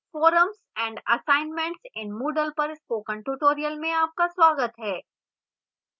forums and assignments in moodle पर spoken tutorial में आपका स्वागत है